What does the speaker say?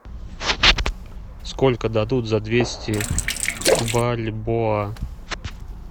сколько дадут за двести бальбоа